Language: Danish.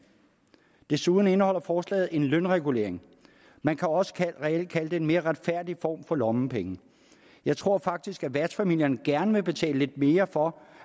desuden indeholder forslaget en lønregulering man kan også reelt kalde det en mere retfærdig form for lommepenge jeg tror faktisk at værtsfamilierne gerne vil betale lidt mere for